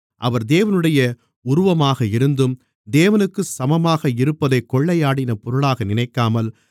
அவர் தேவனுடைய உருவமாக இருந்தும் தேவனுக்குச் சமமாக இருப்பதைக் கொள்ளையாடின பொருளாக நினைக்காமல்